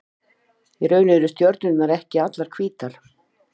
Í raun eru stjörnurnar ekki allar hvítar.